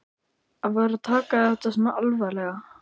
Að vera að taka þetta svona alvarlega.